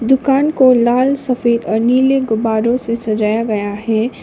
दुकान को लाल सफेद और नीले गुब्बारों से सजाया गया है।